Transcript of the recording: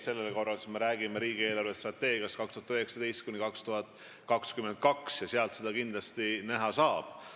Sellel korral me räägime riigi eelarvestrateegiast 2019–2022, kust seda kindlasti ka näha saab.